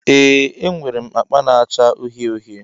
Ee enwere m akpa na-acha uhie uhie.